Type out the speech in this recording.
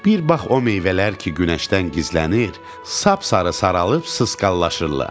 Bir bax o meyvələr ki, günəşdən gizlənir, sap-sarı saralıb sısqallaşırlar.